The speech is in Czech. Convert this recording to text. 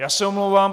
Já se omlouvám.